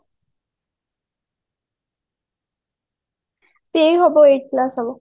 ଏଇ ହବ eight class ହେବ